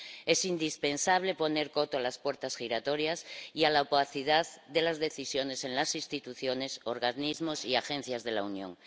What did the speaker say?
Es indispensable poner coto a las puertas giratorias y a la opacidad de las decisiones en las instituciones, organismos y agencias de la Unión.